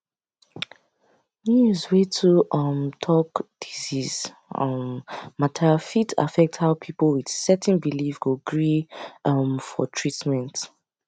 news wey too um talk disease um matter fit affect how people with certain belief go gree um for treatment